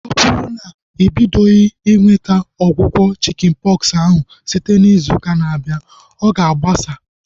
Ọ bụrụ na ị bidoghi inweta ọgwụgwọ chikin pọksi ahu site izu ụka na-abịa, ọ ga agbasa